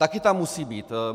Taky tam musí být.